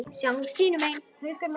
Sjáumst hinum megin.